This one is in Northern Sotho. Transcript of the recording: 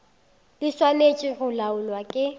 di swanetše go laolwa ke